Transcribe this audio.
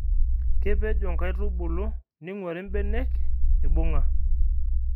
kepejo inkaitubulu ningwari imbenek ibunga